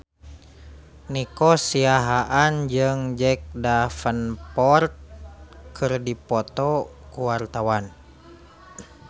Nico Siahaan jeung Jack Davenport keur dipoto ku wartawan